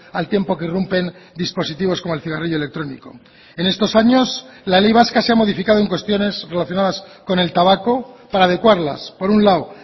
al tiempo que irrumpen dispositivos como el cigarrillo electrónico en estos años la ley vasca se ha modificado en cuestiones relacionadas con el tabaco para adecuarlas por un lado